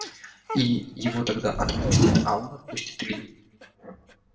и его тогда отпустит а он отпустит илью